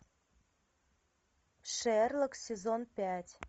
шерлок сезон пять